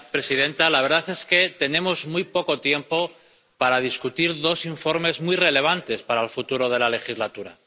Señora presidenta, la verdad es que tenemos muy poco tiempo para discutir dos informes muy relevantes para el futuro de la legislatura.